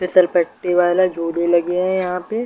फिसलपट्टी वाला झूले लगे हैं यहाँ पे।